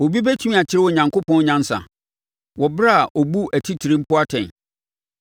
“Obi bɛtumi akyerɛ Onyankopɔn nyansa, wɔ ɛberɛ a ɔbu atitire mpo atɛn?